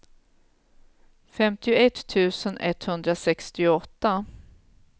femtioett tusen etthundrasextioåtta